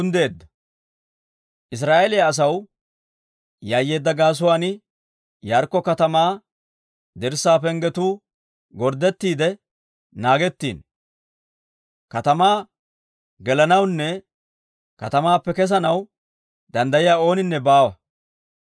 Israa'eeliyaa asaw yayyeedda gaasuwaan Yaarikko katamaa dirssaa penggetuu gorddettiide naagettiino; katamaa gelanawunne katamaappe kesanaw danddayiyaa ooninne baawa.